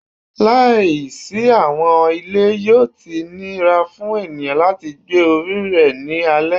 Laisi awọn ile, yoo ti nira fun eniyan lati gbe ori rẹ ni alẹ